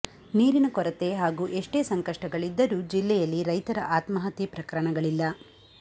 ನೀರಿನ ಕೊರತೆ ಹಾಗೂ ಎಷ್ಟೇ ಸಂಕಷ್ಟಗಳಿದ್ದರೂ ಜಿಲ್ಲೆಯಲ್ಲಿ ರೈತರ ಆತ್ಮಹತ್ಯೆ ಪ್ರಕರಣಗಳಿಲ್ಲ